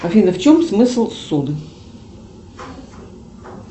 афина в чем смысл суд